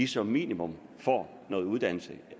som minimum får noget uddannelse